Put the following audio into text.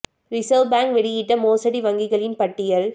reserve Bank வெளியிட்ட மோசடி வங்கிகளின் பட்டியல்